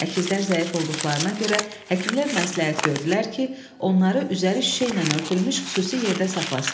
Əkizlər zəif olduqlarına görə həkimlər məsləhət gördülər ki, onları üzəri şüşə ilə örtülmüş xüsusi yerdə saxlasınlar.